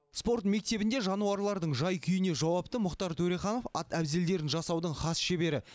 спорт мектебінде жануарлардың жай күйіне жауапты мұхтар төреханов ат әбзелдерін жасаудың хас шебері